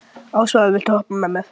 Ásvarður, viltu hoppa með mér?